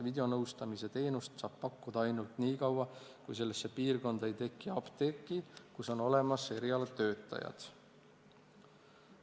Videonõustamise teenust saab pakkuda ainult nii kaua, kuni sellesse piirkonda ei teki apteeki, kus on olemas erialatöötajad.